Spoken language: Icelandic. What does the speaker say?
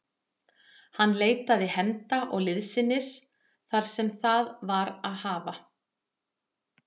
Hann leitaði hefnda og liðsinnis þar sem það var að hafa.